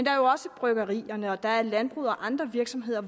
er jo også bryggerierne og der er landbruget og andre virksomheder